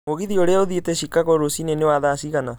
mũgithi ũrĩa uthiĩte Chicago rũcinĩ nĩ wa thaa cigana